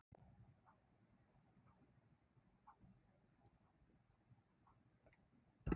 Þessar afurðir eru heili, mæna, hóstarkirtill, hálseitlar, milta og innyfli.